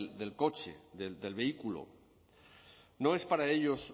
del coche del vehículo no es para ellos